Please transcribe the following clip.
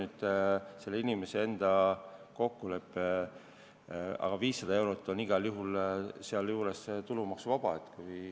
See on selle inimese enda kokku leppida, aga 500 eurot on igal juhul tulumaksuvaba.